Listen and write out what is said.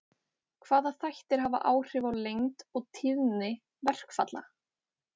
hvaða þættir hafa áhrif á lengd og tíðni verkfalla